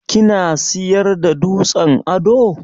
Kina siyar da dutsen ado?